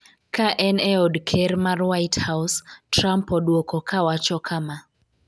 ka en e od ker mar White House, Trump odwoko ka wacho kama